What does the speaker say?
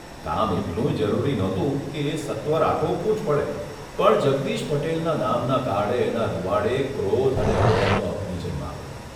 કામ એટલું જરૂરીયે નહોતું કે એ સત્વર આટોપવું જ પડે, પણ જગદીશ પટેલના નામના કાર્ડ એ ના રૂંવાળે ક્રોધ અને વેરનો અગ્નિ જન્માવ્યો.